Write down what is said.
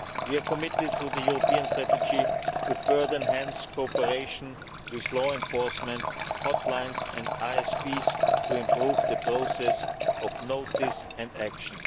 We are committed through the European strategy to further enhancing cooperation with law enforcement, hotlines and ISPs to improve the process of notice and action.